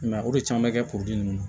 I m'a ye o de caman bɛ kɛ puruke